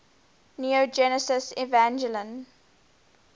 neon genesis evangelion